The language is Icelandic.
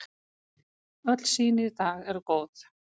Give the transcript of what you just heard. Öll sýni í dag eru góð.